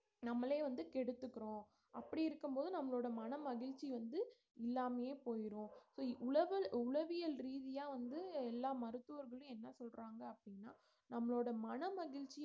நம்மளே வந்து கெடுத்துகிறோம் அப்படி இருக்கும்போது நம்மளோட மன மகிழ்ச்சி வந்து இல்லாமையே போயிரும் so உளவல்~ உளவியல் ரீதியா வந்து எல்லா மருத்துவர்களும் என்ன சொல்றாங்க அப்படின்னா நம்மளோட மனமகிழ்ச்சி